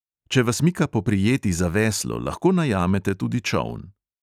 Če vas mika poprijeti za veslo, lahko najamete tudi čoln.